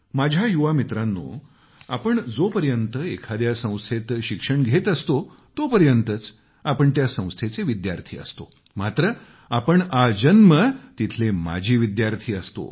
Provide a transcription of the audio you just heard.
माझ्या युवा मित्रांनोआपण जोपर्यंत एखाद्या संस्थेत शिक्षण घेत असतो तोपर्यंतच आपण त्या संस्थेचे विद्यार्थी असतो मात्र आपण आजन्म तिथले माजी विद्यार्थी असतो